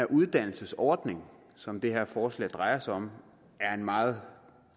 uddannelsesordning som det her forslag drejer sig om er en meget